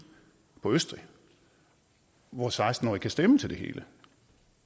på østrig hvor seksten årige kan stemme til det hele